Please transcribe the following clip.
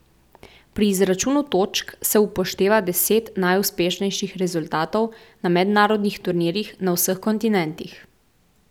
Pri izračunu točk se upošteva deset najuspešnejših rezultatov na mednarodnih turnirjih na vseh kontinentih.